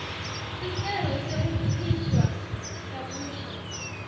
sicelo sekukhishwa kabusha